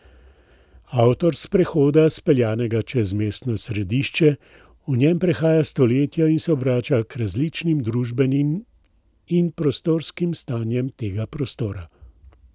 Avtor sprehoda, speljanega čez mestno središče, v njem prehaja stoletja in se obrača k različnim družbenim in prostorskim stanjem tega prostora.